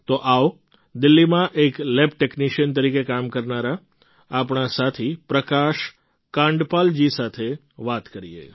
તો આવો દિલ્લીમાં એક લેબ ટૅક્નિશિયન તરીકે કામ કરનારા આપણા સાથી પ્રકાશ કાંડપાલજી સાથે વાત કરીએ